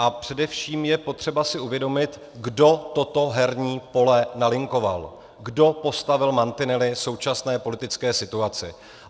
A především je potřeba si uvědomit, kdo toto herní pole nalinkoval, kdo postavil mantinely současné politické situaci.